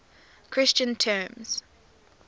christian terms